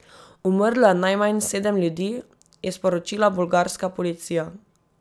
Umrlo je najmanj sedem ljudi, je sporočila bolgarska policija.